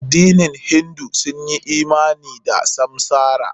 Ƴan hindu sun yi imani da samsara.